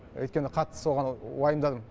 өйткені қатты соған уайымдадым